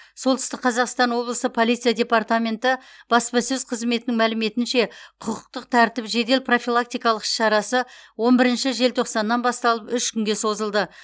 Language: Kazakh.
солтүстік қазақстан облысы полиция департаменті баспасөз қызметінің мәліметінше құқықтық тәртіп жедел профилактикалық іс шарасы он бірінші желтоқсаннан басталып үш күнге созылды